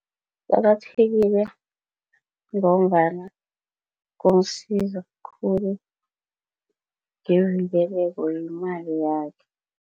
Kuqakathekile ngombana kumsiza khulu ngevikeleko yemali yakhe.